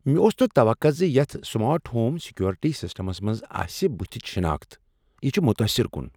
مےٚ اوس نہٕ توقع زِ یتھ سمارٹ ہوم سیکورٹی سسٹمس آسِہ بُتھِچ شناخت۔ یِہ چھ متٲثر کُن ۔